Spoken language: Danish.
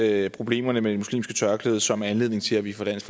er problemerne med det muslimske tørklæde som er anledning til at vi fra dansk